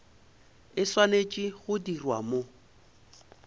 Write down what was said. e swanetše go dirwa mo